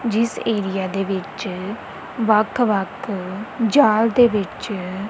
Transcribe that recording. ਜਿਸ ਏਰੀਆ ਦੇ ਵਿੱਚ ਵੱਖ ਵੱਖ ਜਾਲ ਦੇ ਵਿੱਚ--